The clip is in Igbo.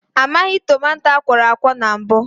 A maghị tomato akwọrọakwọ mbụ